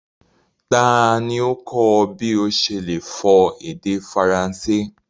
Tani o kọ ọ̀ bí o ṣe le fọ èdè Faransé?